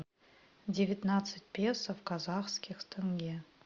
девятнадцать песо в казахских тенге